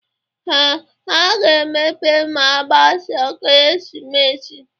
Ee, ha ga-emepe ma agbasia ekeresimesi